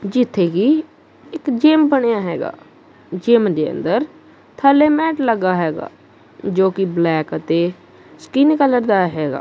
ਜੀਥੇ ਗੀ ਇੱਕ ਜਿਮ ਬਣਿਆ ਹੈਗਾ ਜਿਮ ਦੇ ਅੰਦਰ ਥੱਲੇ ਮੈਟ ਲੱਗਾ ਹੈਗਾ ਜੋ ਕਿ ਬਲੈਕ ਅਤੇ ਸਕਿਨ ਕਲਰ ਦਾ ਹੈਗਾ।